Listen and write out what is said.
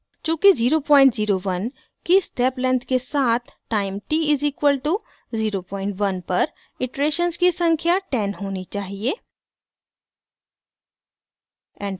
चूँकि 001 की step length के साथ टाइम t=01 पर इटरेशन्स की संख्या 10 होनी चाहिए